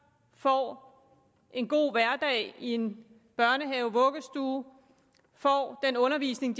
får en god hverdag i en børnehave vuggestue får den undervisning i